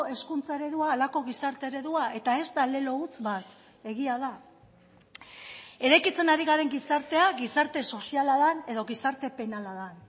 hezkuntza eredua halako gizarte eredua eta ez da lelo huts bat egia da eraikitzen ari garen gizartea gizarte soziala den edo gizarte penala den